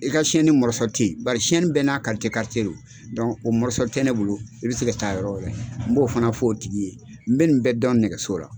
I ka tɛ bari bɛɛ n'a kalite karitie don o tɛ ne bolo i bɛ se ka taa yɔrɔ wɛrɛ n b'o fana f' o tigi ye, n bɛ nin bɛ dɔn nɛgɛso la.